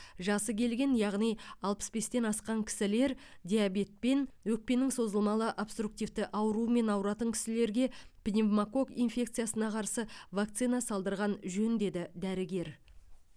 жасы келген яғни алпыс бестен асқан кісілер диабетпен өкпенің созылмалы обструктивті ауруымен ауыратын кісілерге пневмококк инфекциясына қарсы вакцина салдырған жөн деді дәрігер